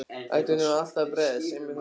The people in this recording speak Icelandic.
Átti nú allt að bregðast, einmitt núna?